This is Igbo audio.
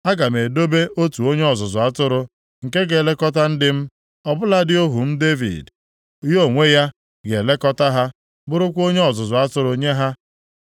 Aga m edobe otu onye ọzụzụ atụrụ nke ga-elekọta ndị m, ọ bụladị ohu m Devid. Ya onwe ya ga-elekọta ha, bụrụkwa onye ọzụzụ atụrụ nye ha.